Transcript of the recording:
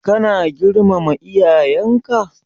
Ka na girmama iyayenka?